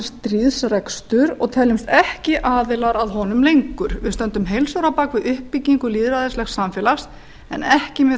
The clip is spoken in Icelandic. stríðsrekstur og teljumst ekki aðilar að honum lengur við stöndum heils hugar bak við uppbyggingu lýðræðislegs samfélags en ekki með